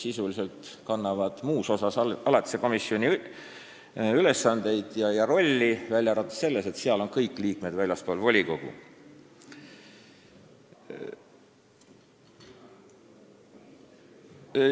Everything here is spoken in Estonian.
Sisuliselt on neil muus osas alatise komisjoni ülesanded ja roll, välja arvatud see, et kõik liikmed on seal üldjuhul väljastpoolt volikogu.